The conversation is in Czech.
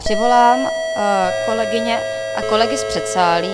Přivolám kolegyně a kolegy z předsálí.